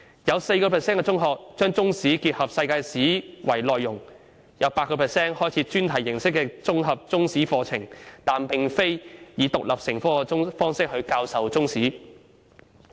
有 4% 的中學把中史結合世界史為內容；有 8% 的中學開設專題形式的綜合中史課程，但並非以獨立成科的方式教授中史。